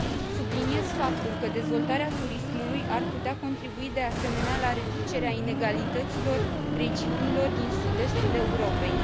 Subliniez faptul că dezvoltarea turismului ar putea contribui, de asemenea, la reducerea inegalităților regiunilor din sud estul Europei.